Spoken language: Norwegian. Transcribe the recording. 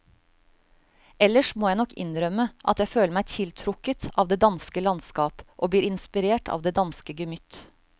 Ellers må jeg nok innrømme at jeg føler meg tiltrukket av det danske landskap og blir inspirert av det danske gemytt.